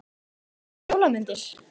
Hugrún Halldórsdóttir: Svona jólamyndir?